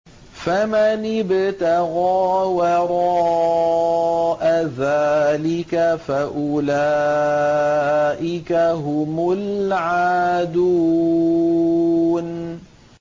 فَمَنِ ابْتَغَىٰ وَرَاءَ ذَٰلِكَ فَأُولَٰئِكَ هُمُ الْعَادُونَ